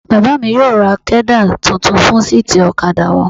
Bàbá mi yóò ra kẹ́dà tuntun fún síìtì ọ̀kadà wọn.